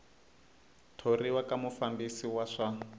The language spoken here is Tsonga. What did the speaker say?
thoriwa ka mufambisi wa swa